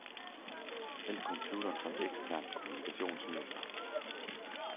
Vælg computeren som eksternt kommunikationsmiddel.